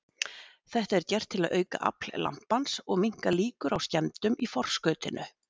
Þetta er gert til að auka afl lampans og minnka líkur á skemmdum í forskautinu.